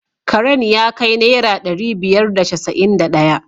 Karen ya kai naira dari biyar da casa’in da daya.